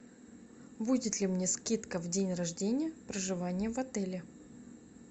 будет ли мне скидка в день рождения проживание в отеле